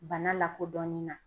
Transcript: Bana lakodɔnni na.